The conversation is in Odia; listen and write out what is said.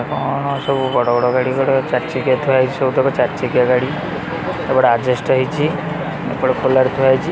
ସବୁ ବଡ଼ ବଡ଼ ଗାଡ଼ି ଗୁଡ଼ା ଚାରି ଚକିଆ ଥୁଆ ହୋଇଛି ସବୁ ତକ ଚାରି ଚକିଆ ଗାଡ଼ି ଏପଟେ ଆଜବେଷ୍ଟ ହେଇଚି ଏପଟେ କୁଲର୍ ଥୁଆ ହେଇଚି।